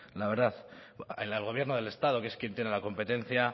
la verdad el gobierno del estado que es quien tiene la competencia